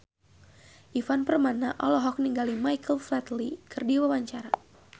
Ivan Permana olohok ningali Michael Flatley keur diwawancara